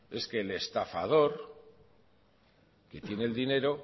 es que al estafador que tiene el dinero